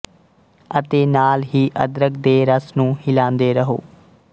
ਅਤੇ ਨਾਲ ਹੀ ਅਦਰਕ ਦੇ ਰਸ ਨੂੰ ਹਿਲਾਂਦੇ ਰਹੋ